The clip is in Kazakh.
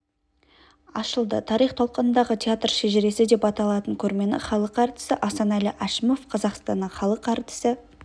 ашылды тарих толқынындағы театр шежіресі деп аталатын көрмені халық әртісі асанәлі әшімов қазақстанның халық әртісі